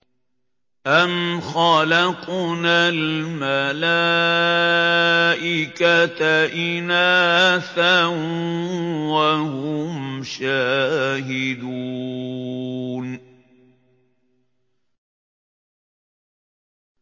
أَمْ خَلَقْنَا الْمَلَائِكَةَ إِنَاثًا وَهُمْ شَاهِدُونَ